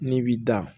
N'i b'i da